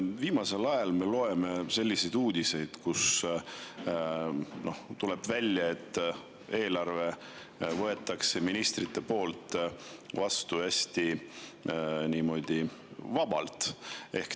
Viimasel ajal me loeme selliseid uudiseid, kust tuleb välja, et eelarve võetakse ministrite poolt vastu niimoodi hästi vabalt.